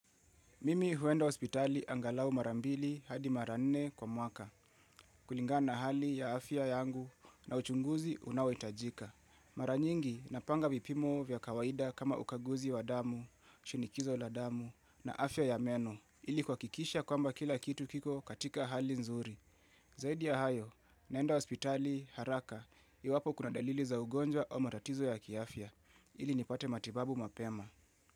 Mimi huenda hospitali angalau marambili hadi mara nne kwa mwaka, kulingana na hali ya afya yangu na uchunguzi unao itajika. Maranyingi napanga vipimo vya kawaida kama ukaguzi wa damu, shinikizo la damu na afya ya meno, ili kuhakikisha kwamba kila kitu kiko katika hali nzuri. Zaidi ya hayo, naenda hospitali haraka, iwapo kuna dalili za ugonjwa o maratizo ya kiafia, ili nipate matibabu mapema.